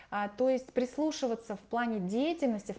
а то есть прислушиваться в плане деятельности